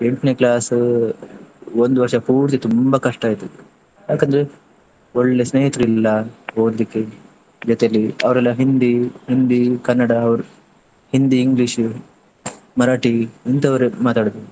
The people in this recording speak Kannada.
ಎಂಟ್ನೇ class ಒಂದು ವರ್ಷ ಪೂರ್ತಿ ತುಂಬಾ ಕಷ್ಟ ಆಯ್ತದು. ಯಾಕಂದ್ರೆ ಒಳ್ಳೆ ಸ್ನೇಹಿತರಿಲ್ಲ ಓದ್ಲಿಕ್ಕೆ ಜೊತೆಲಿ ಅವ್ರೆಲ್ಲಾ ಹಿಂದಿ, ಹಿಂದಿ, ಕನ್ನಡ ಅವ್ರು ಹಿಂದಿ, ಇಂಗ್ಲಿಷ್, ಮರಾಠಿ ಇಂಥವರೇ ಮಾತಾಡುದು.